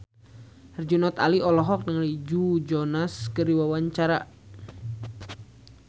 Herjunot Ali olohok ningali Joe Jonas keur diwawancara